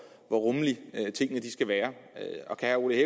rummelige tingene skal være og kan herre ole